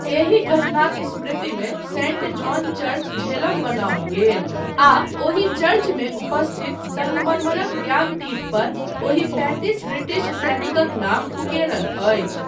एहि घटनाक स्मृतिमे सेंट जॉन चर्च झेलम बनओल गेल आ ओहि चर्चमे उपस्थित सङ्गमरमरक ज्ञानतीठपर ओहि पैतिस ब्रिटिश सैनिकक नाम उकेरल अछि।